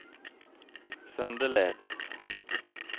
Søndeled